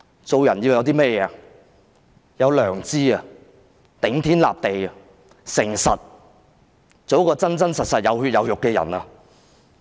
做人要有良知、要頂天立地和誠實，做一個真真實實，有血有肉的人。